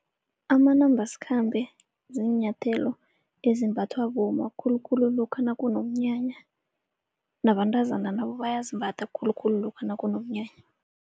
Amanambasikhambe ziinyathelo ezimbathwa bomma khulukhulu lokha nakunomnyanya. Nabantazana nabo bayazimbatha khulukhulu lokha nakunomnyanya.